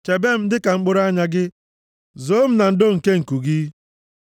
Chebe m dịka mkpụrụ anya gị; zoo m na ndo nke nku gị,